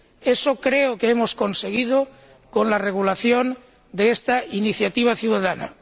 Eso creo que hemos conseguido con la regulación de esta iniciativa ciudadana.